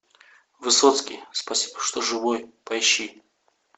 высоцкий спасибо что живой поищи